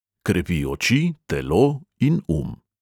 Krepi oči, telo in um.